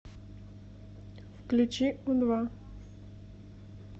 включи у два